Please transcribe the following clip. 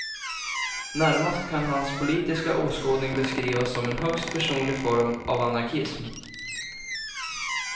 Närmast kan hans politiska åskådning beskrivas som en högst personlig form av anarkism.